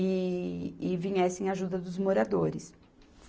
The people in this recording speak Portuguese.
e, e viesse em ajuda dos moradores.